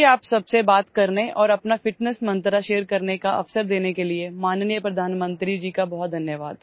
मुझे आप सबसे बात करने और अपना फिटनेस मंत्र शेयर करने का अवसर देने के लिए माननीय प्रधानमंत्री जी का बहुत धन्यवाद